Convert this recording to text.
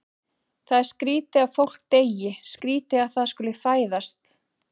Það er skrýtið að fólk deyi, skrýtið að það skuli fæðast.